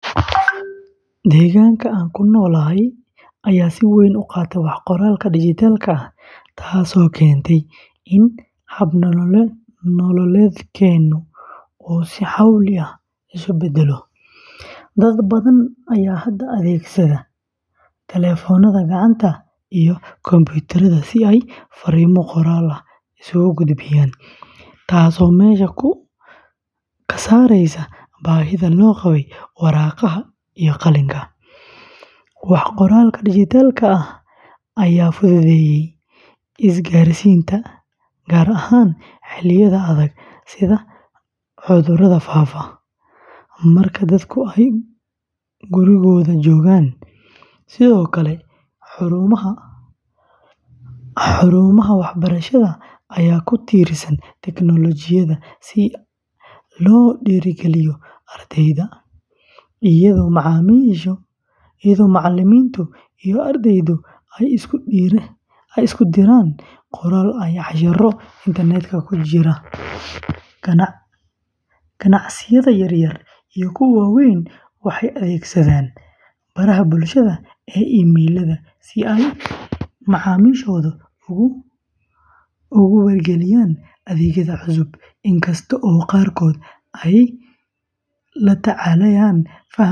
Deegaanka aan ku noolahay ayaa si weyn u qaatay wax-qoraalka dhijitaalka ah, taasoo keentay in hab-nololeedkeennu uu si xawli ah isu beddelo. Dad badan ayaa hadda adeegsada taleefannada gacanta iyo kombuyuutarrada si ay fariimo qoraal ah isugu gudbiyaan, taasoo meesha ka saaraysa baahida loo qabo waraaqaha iyo qalinka. Wax-qoraalka dhijitaalka ah ayaa fududeeyay isgaarsiinta, gaar ahaan xilliyada adag sida cudurada faafa, marka dadku ay gurigooda joogaan. Sidoo kale, xarumaha waxbarashada ayaa ku tiirsan tiknoolajiyadda si loo dhiirrigeliyo ardayda, iyadoo macalimiinta iyo ardaydu ay isku diraan qoraallo iyo casharro internetka ku jira. Ganacsiyada yaryar iyo kuwa waaweynba waxay adeegsadaan baraha bulshada iyo emayllada si ay macaamiishooda ugu wargeliyaan adeegyada cusub. Inkastoo qaarkood ay la tacaalayaan fahamka farsamada.